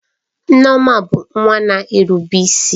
Nneoma bụ nwa na-erube isi.